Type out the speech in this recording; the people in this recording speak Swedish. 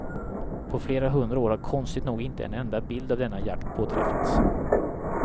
På flera hundra år har konstigt nog inte en enda bild av denna jakt påträffats.